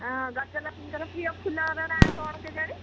ହଁ ଗଜଲକ୍ଷ୍ମୀ ଙ୍କର ପ୍ରିୟ ଫୁଲ ର ନାଁ କଣ କେଜାଣି